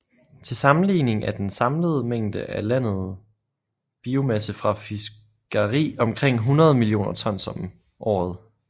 Til sammenligning er den samlede mængde af landet biomasse fra fiskeri omkring 100 millioner tons om året